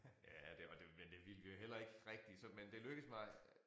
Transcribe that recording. Ja det var det men det ville vi jo heller ikke rigtig så men det lykkedes mig